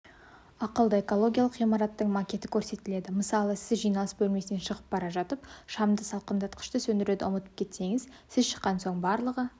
ақылды экологиялық ғимараттың макеті көрсетіледі мысалы сіз жиналыс бөлмесінен шығып бара жатып шамды салқындатқышты сөндіруді ұмытып кетсеңіз сіз шыққан соң барлығы